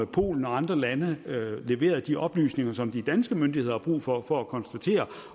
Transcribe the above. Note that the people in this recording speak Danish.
polen og andre lande leverede de oplysninger som de danske myndigheder har brug for for at kunne konstatere